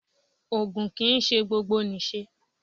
Ògùn kì ń ṣe gbogbo nì ṣe.